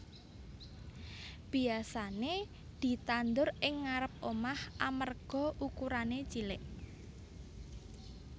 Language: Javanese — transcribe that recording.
Biyasané ditandur ing ngarêp omah amarga ukurané cilik